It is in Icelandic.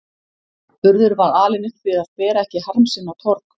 Urður var alin upp við að bera ekki harm sinn á torg.